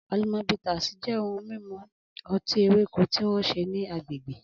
Alomo Bitters jẹ́ ohun mímu ọtí ewéko tí wọ́n ṣe ní agbègbè.